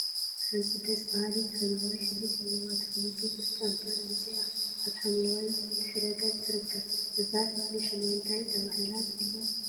ሓንቲ ደስ በሃሊት ሓምለዋይ ሕብሪ ዘለዋ ተክሊ ቡዙሕ ጨንፈር አውፂአ አብ ሓምለዋይ ድሕረ ገፅ ትርከብ፡፡ እዛ ተክሊ ሹማ እንታይ ተባሂላ ትፍለጥ?